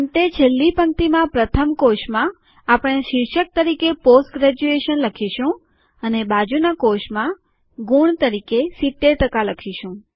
અંતે છેલ્લી પંક્તિમાં પ્રથમ કોષમાં આપણે શીર્ષક તરીકે પોસ્ટ ગ્રેજ્યુએશન લખીશું અને બાજુનાં કોષમાં ગુણ તરીકે ૭૦ ટકા લખીશું